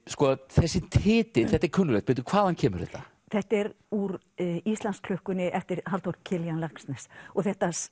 þessi titill þetta er kunnuglegt hvaðan kemur þetta þetta er úr Íslandsklukkunni eftir Halldór Kiljan Laxness og